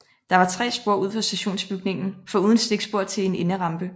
Der var 3 spor ud for stationsbygningen foruden stikspor til en enderampe